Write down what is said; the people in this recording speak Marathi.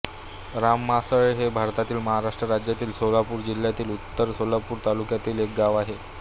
रानमासळे हे भारतातील महाराष्ट्र राज्यातील सोलापूर जिल्ह्यातील उत्तर सोलापूर तालुक्यातील एक गाव आहे